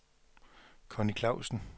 Conny Clausen